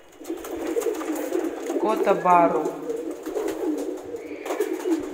кота бару